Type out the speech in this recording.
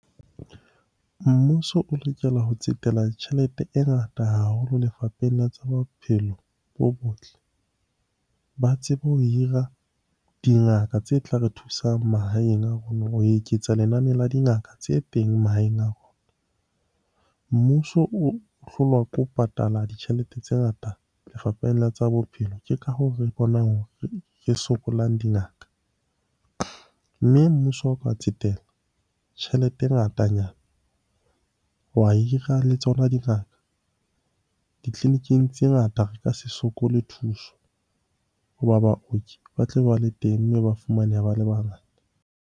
Mmuso o lokela ho tsetela tjhelete e ngata haholo lefapheng la tsa bophelo bo botle ba tsebe ho hira dingaka tse tla re thusang mahaeng a rona ho eketsa lenane la dingaka tse teng mahaeng a rona. Mmuso o hlolwa ke ho patala ditjhelete tse ngata lefapheng la tsa bophelo. Ke ka hoo re bonang hore re sokolang dingaka. Mme mmuso o ka tsetela tjhelete e ngatanyana, wa hira le tsona dingaka, ditleliniking tse ngata re ka se sokole thuso hoba baoki ba tlabe ba le teng mme ba fumaneha ba le bangata.